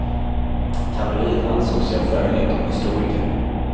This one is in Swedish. Kavalleriet ansåg sig ha föga nytta av en historiker.